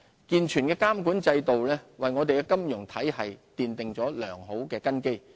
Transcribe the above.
健全的監管制度為我們的金融體系奠定良好根基。